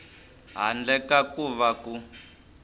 handle ka ku va ku